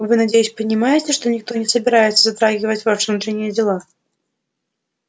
вы надеюсь понимаете что никто не собирается затрагивать ваши внутренние дела